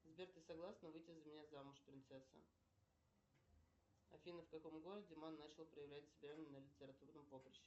сбер ты согласна выйти за меня замуж принцесса афина в каком городе ман начал проявлять себя на литературном поприще